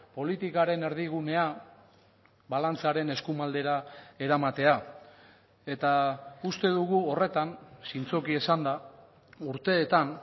politikaren erdigunea balantzaren eskuma aldera eramatea eta uste dugu horretan zintzoki esanda urteetan